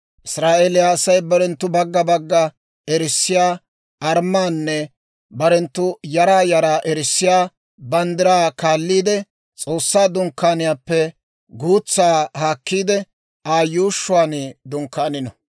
«Israa'eeliyaa Asay barenttu bagga bagga erissiyaa armmaanne barenttu yaraa yaraa erissiyaa banddiraa kaalliide, S'oossaa Dunkkaaniyaappe guutsaa haakkiide, Aa yuushshuwaan dunkkaanino.